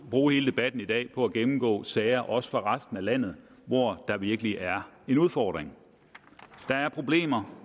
bruge hele debatten i dag på at gennemgå sager også fra resten af landet hvor der virkelig er en udfordring der er problemer